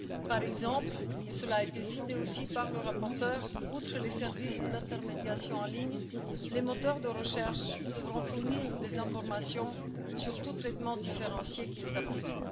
Par exemple, et ceci a été cité aussi par la rapporteure, outre les services d'intermédiation en ligne, les moteurs de recherche devront fournir des informations sur tout traitement différencié qu'ils appliquent.